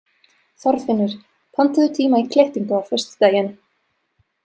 Þorfinnur, pantaðu tíma í klippingu á föstudaginn.